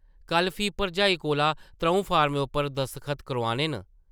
कल्ल फ्ही भरजाई कोला त्रʼऊं फार्में उप्पर दस्खत करोआने न ।